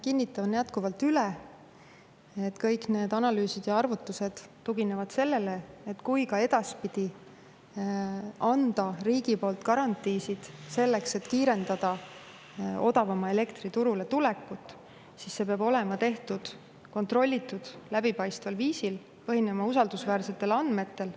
Kinnitan jätkuvalt üle, et kõik need analüüsid ja arvutused tuginevad sellele, et kui ka edaspidi anda riigi poolt garantiisid, selleks et kiirendada odavama elektri turule tulekut, siis see peab olema tehtud kontrollitud, läbipaistval viisil ja põhinema usaldusväärsetel andmetel.